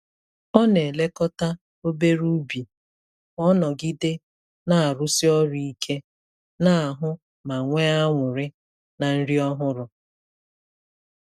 Ọ na-elekọta obere ubi ka ọ nọgide na-arụsi ọrụ ike n'ahụ ma nwee anụrị na nri ọhụrụ.